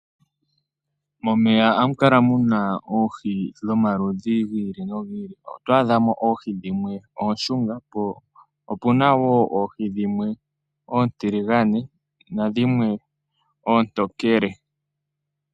Momeya ohamu kala muna oohi dhomaludhi ogendji. Oto adha mo oohi dhimwe oonshunga po opu na wo oohi dhimwe oontiligane nadhimwe oontokele.